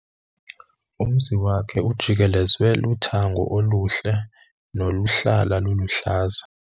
Umzi wakhe ujikelezwe luthango oluhle noluhlala luluhlaza.